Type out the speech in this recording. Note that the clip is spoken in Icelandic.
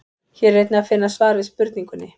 Hér er einnig að finna svar við spurningunni: